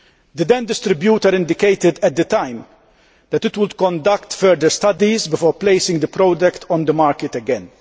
The then distributor indicated at the time that it would conduct further studies before placing the product on the market again.